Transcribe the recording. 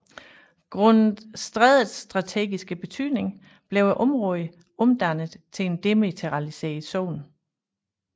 Grundet strædets strategiske betydning blev området omdannet til en demilitariseret zone